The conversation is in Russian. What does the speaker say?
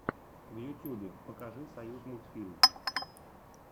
в ютюбе покажи союзмультфильм